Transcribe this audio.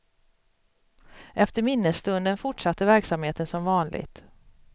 Efter minnesstunden fortsatte verksamheten som vanligt.